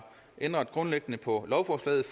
ændret grundlæggende på lovforslaget